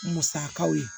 Musakaw ye